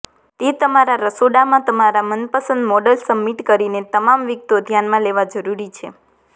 તે તમારા રસોડામાં તમારા મનપસંદ મોડલ સબમિટ કરીને તમામ વિગતો ધ્યાનમાં લેવા જરૂરી છે